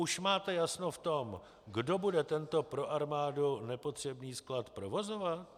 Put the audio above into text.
Už máte jasno v tom, kdo bude tento pro armádu nepotřebný sklad provozovat?